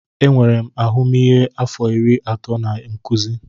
Enwere m ahụmịhe afọ iri atọ na nkuzi.